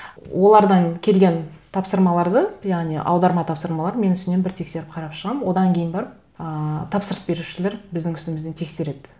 олардан келген тапсырмаларды яғни аударма тапсырмаларын мен үстінен бір тексеріп қарап шығамын одан кейін барып ыыы тапсырыс берушілер біздің үстімізден тексереді